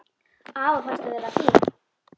Afa fannst hún vera fín.